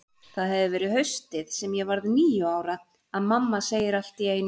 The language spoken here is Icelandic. Það hefur verið haustið sem ég varð níu ára, að mamma segir allt í einu